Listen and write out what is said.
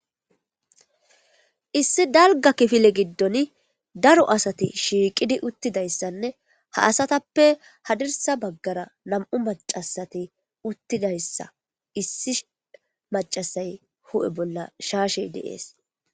issi dalga kifile giddon daro asati shiiqidi uttidayssanne ha asatappe hadirsa baggara nam7u macasati uttidayssa issi macasay hu7e bolla shaashey deees